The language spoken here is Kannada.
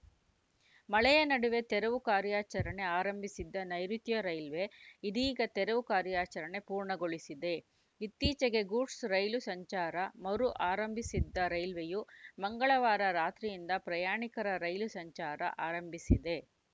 ಮಳೆಯ ನಡುವೆಯೇ ತೆರವು ಕಾರ್ಯಾಚರಣೆ ಆರಂಭಿಸಿದ್ದ ನೈಋುತ್ಯ ರೈಲ್ವೆ ಇದೀಗ ತೆರವು ಕಾರ್ಯಾಚರಣೆ ಪೂರ್ಣಗೊಳಿಸಿದೆ ಇತ್ತೀಚೆಗೆ ಗೂಡ್ಸ್‌ ರೈಲು ಸಂಚಾರ ಮರು ಆರಂಭಿಸಿದ್ದ ರೈಲ್ವೆಯು ಮಂಗಳವಾರ ರಾತ್ರಿಯಿಂದ ಪ್ರಯಾಣಿಕರ ರೈಲು ಸಂಚಾರ ಆರಂಭಿಸಿದೆ